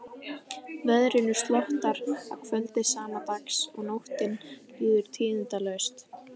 Veðrinu slotar að kvöldi sama dags og nóttin líður tíðindalaust.